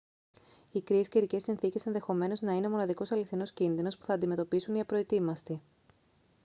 οι κρύες καιρικές συνθήκες ενδεχομένως να είναι ο μοναδικός αληθινός κίνδυνος που θα αντιμετωπίσουν οι απροετοίμαστοι